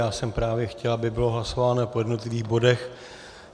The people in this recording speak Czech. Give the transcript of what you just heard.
Já jsem právě chtěl, aby bylo hlasováno po jednotlivých bodech.